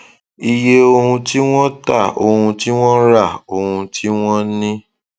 iye ohun tí wọn tà ohun tí wọn rà ohun tí wọn ní